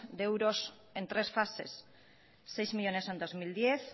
de euros en tres fases seis millónes en dos mil diez